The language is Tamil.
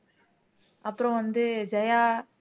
அப்புறம் வந்து ஜெயா